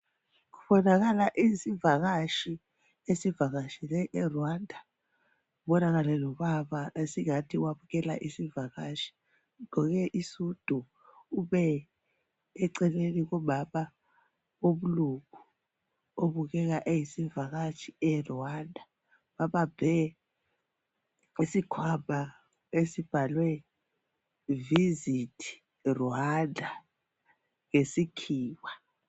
Kubonakala isivakatshi esivakatshele eRwanda kubonakale lobaba esingathi wamkela isivakatshi ugqoke isudu, ume eceleni komama womlungu obukeka eyisivakatshi eRwanda babambe isikhwama esibhalwe "Visit Rwanda" ngesikhiwa.